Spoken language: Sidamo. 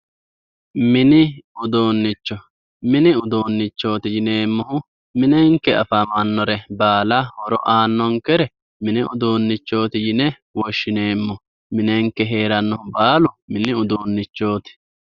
mini uduunicho mini uduunichooti yineemohu minenke afamanore baala horo aanonkere mini uduunichooti yine woshshineemo minenke heeranohu baalu mini uduunichoot